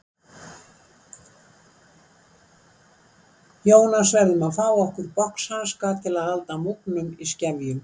Jónas verðum að fá okkur boxhanska til að halda múgnum í skefjum.